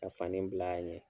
A fani bil'a ɲɛ.